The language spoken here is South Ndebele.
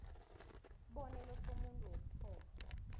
isibonelo somuntu wokuthoma